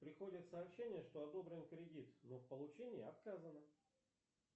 приходят сообщения что одобрен кредит но в получении отказано